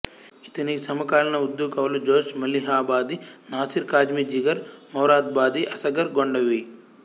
ఇతని సమకాలీన ఉర్దూ కవులు జోష్ మలీహాబాది నాసిర్ కాజ్మి జిగర్ మొరాదాబాది అస్గర్ గోండవి